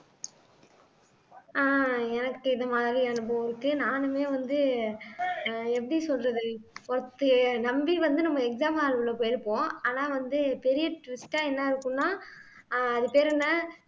ஆஹ் எனக்கு இது மாதிரி அனுபவம் இருக்கு நானுமே வந்து ஆஹ் எப்படி சொல்றது ஒருத்திய நம்பி வந்து நம்ம exam hall க்குள்ள போயிருப்போம் ஆனா வந்து பெரிய twist ஆ என்ன இருக்கும்ன்னா ஆஹ் அது பேர் என்ன